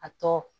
A tɔ